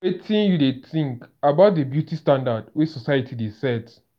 wetin you dey think about di beauty standards wey society dey set?